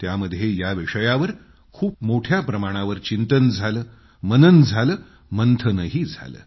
त्यामध्ये या विषयावर खूप मोठ्या प्रमाणावर चिंतन झालं मनन झालं मंथनही झालं